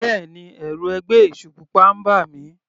Bẹ́ẹ̀ni, ẹ̀rù ẹgbẹ́ èṣù pupa ń bà mí.